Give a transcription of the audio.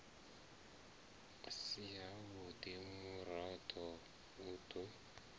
si havhudi murado u do